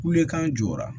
Kule kan jɔra